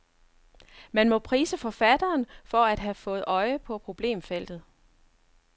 Man må prise forfatteren for at have fået øje på problemfeltet.